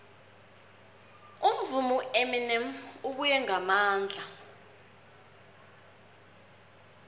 umvumi ueminem ubuye ngamandla